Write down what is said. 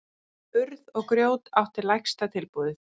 Urð og grjót átti lægsta tilboðið